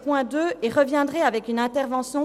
– Wunderbar, dies ist der Fall.